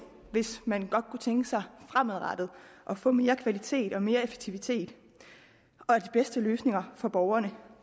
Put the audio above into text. hvis man godt kunne tænke sig fremadrettet at få mere kvalitet og mere effektivitet og de bedste løsninger for borgerne